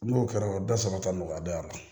N'o kɛra dasara ta nɔgɔya don a la